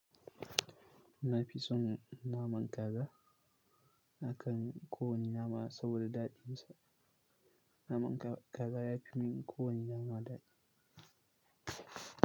Na fi son naman kaza akan kowane nama saboda daɗinsa. Naman kaza ya fi min kowane nama daɗi.